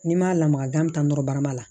N'i m'a lamaga gan bɛ taa nɔrɔ barama la